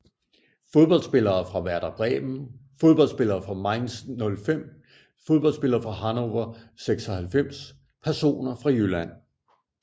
Fodboldspillere fra Werder Bremen Fodboldspillere fra Mainz 05 Fodboldspillere fra Hannover 96 Personer fra Jylland